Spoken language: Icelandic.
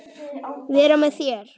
Vera með mér?